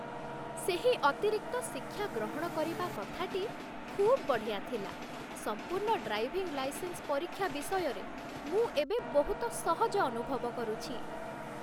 ସେହି ଅତିରିକ୍ତ ଶିକ୍ଷା ଗ୍ରହଣ କରିବା କଥାଟି ଖୁବ୍ ବଢ଼ିଆ ଥିଲା! ସମ୍ପୂର୍ଣ୍ଣ ଡ୍ରାଇଭିଂ ଲାଇସେନ୍ସ ପରୀକ୍ଷା ବିଷୟରେ ମୁଁ ଏବେ ବହୁତ ସହଜ ଅନୁଭବ କରୁଛି।